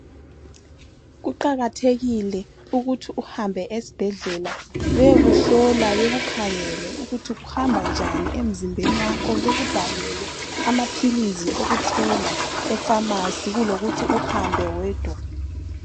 Kuqakathekile ukuthi uhambe esibhedlela beyokuhlola bekukhangele ukuthi kuhamba njani emzimbeni wakho .Bekubhalele amaphilizi okuthenga efamasi kulokuthi uhambe wedwa.